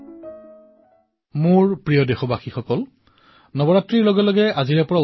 তেওঁলোকে ঘৰসমূহৰ পৰা কাপোৰ মিঠাই খাদ্য আদি একত্ৰিত কৰি অভাৱগ্ৰস্তসকলৰ সন্ধান কৰি তেওঁলোকক প্ৰদান কৰে আৰু এই কাম নিঃশব্দে কৰে